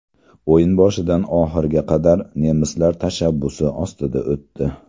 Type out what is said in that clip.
O‘yin boshidan oxiriga qadar nemislar tashabbusi ostida o‘tdi.